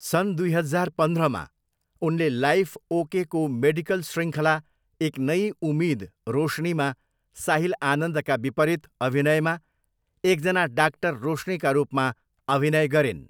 सन् दुई हजार पन्ध्रमा, उनले लाइफ ओकेको मेडिकल शृङ्खला एक नई उम्मिद रोशनीमा साहिल आनन्दका विपरीत अभिनयमा एकजना डाक्टर रोशनीका रूपमा अभिनय गरिन्।